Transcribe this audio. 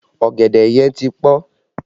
Ọ̀gẹ̀dẹ̀ yẹn ti pọn